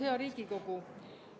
Hea Riigikogu!